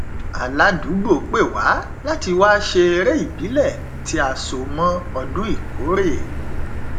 aládùúgbò pè wá láti wá ṣe eré ìbílẹ tí a so mọ ọdún ìkórè